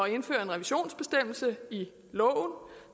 at indføre en revisionsbestemmelse i loven